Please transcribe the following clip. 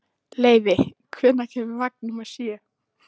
Leivi, hvenær kemur vagn númer sjö?